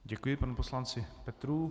Děkuji panu poslanci Petrů.